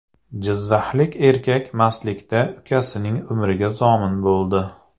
Jizzaxlik erkak mastlikda ukasining umriga zomin bo‘ldi.